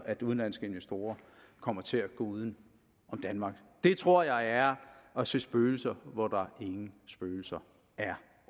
at udenlandske investorer kommer til at gå uden om danmark det tror jeg er at se spøgelser hvor der ingen spøgelser er